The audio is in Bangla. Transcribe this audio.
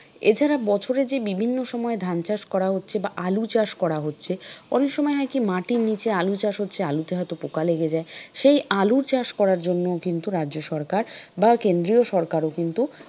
এছাড়া বছরে যে বিভিন্ন সময় ধান চাষ করা হচ্ছে বা আলু চাষ করা হচ্ছে অনেক সময় হয় কি মাটির নিচে আলু চাষ হচ্ছে আলুতে হয়তো পোকা লেগে যায় সেই আলু চাষ করার জন্যও কিন্তু রাজ্য সরকার বা কেন্দ্রীয় সরকারও কিন্তু,